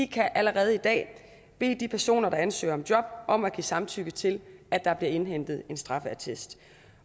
kan allerede i dag bede de personer der ansøger om job om at give samtykke til at der bliver indhentet en straffeattest